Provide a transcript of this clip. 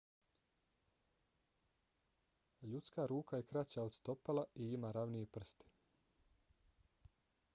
ljudska ruka je kraća od stopala i ima ravnije prste